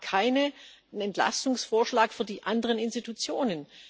Sie machen keinen Entlastungsvorschlag für die anderen Institutionen.